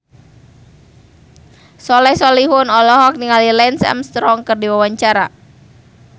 Soleh Solihun olohok ningali Lance Armstrong keur diwawancara